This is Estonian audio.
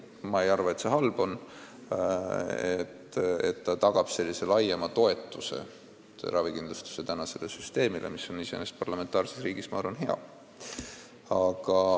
Ma ei arva, et see halb on, see tagab laiema toetuse ravikindlustussüsteemile, mis on iseenesest parlamentaarses riigis, ma arvan, hea.